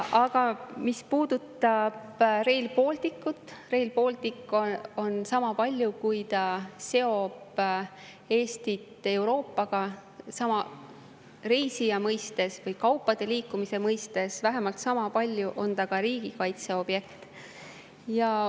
Aga mis puudutab Rail Balticut, siis Rail Baltic seob Eestit Euroopaga nii reisijate kui ka kaupade liikumise mõttes, aga vähemalt sama palju on see ka riigikaitse objekt.